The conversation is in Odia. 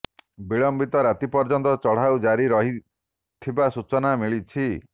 ବିଳମ୍ବିତ ରାତି ପର୍ଯ୍ୟନ୍ତ ଚଢ଼ଉ ଜାରି ରହିଥିବା ସୂଚନା ମିଳିଛି